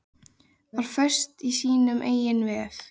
Var föst í sínum eigin vef